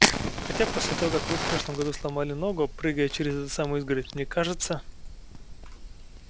хотя после того как вы в прошлом году сломали ногу прыгая через эту самую изгородь мне кажется